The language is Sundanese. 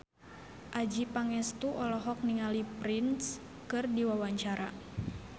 Adjie Pangestu olohok ningali Prince keur diwawancara